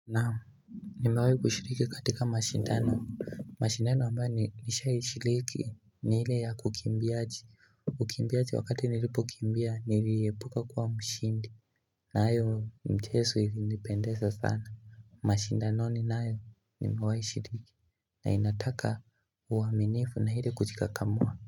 Naam nimewai kushiriki katika mashindano mashindano ambayo nilisha ishiriki ni hile ya kukimbiaji Ukimbiaji wakati nilipo kimbia niliebuka kwa mshindi na ayo mchesu ili nipendesa sana mashindano ni na ayo ni mewai shiriki na inataka uwaminifu na hile kujika kamwa.